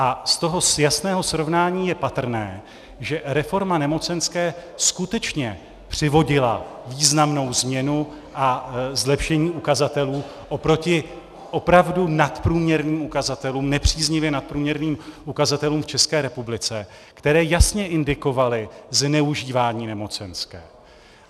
A z toho jasného srovnání je patrné, že reforma nemocenské skutečně přivodila významnou změnu a zlepšení ukazatelů oproti opravdu nadprůměrným ukazatelům, nepříznivě nadprůměrným ukazatelům v České republice, které jasně indikovaly zneužívání nemocenské.